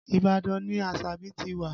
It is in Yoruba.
Ibadan ni Asabi ti wá